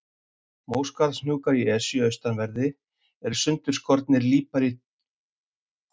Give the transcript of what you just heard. Móskarðshnúkar í Esju austanverðri eru sundurskorinn líparítgúll, sennilega frá því árla á ísöld.